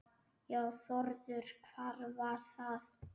Já Þórður, hvað var það?